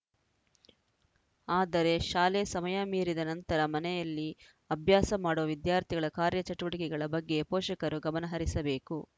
ಆದರೆ ಶಾಲೆ ಸಮಯ ಮೀರಿದ ನಂತರ ಮನೆಯಲ್ಲಿ ಅಭ್ಯಾಸ ಮಾಡುವ ವಿದ್ಯಾರ್ಥಿಗಳ ಕಾರ್ಯಚಟುವಟಿಕೆಗಳ ಬಗ್ಗೆ ಪೋಷಕರು ಗಮನಹರಿಸಬೇಕು